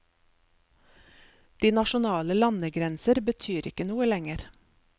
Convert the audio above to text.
De nasjonale landegrenser betyr ikke noe lenger.